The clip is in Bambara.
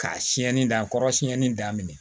K'a siɲɛni dakɔrɔ siyɛnni daminɛ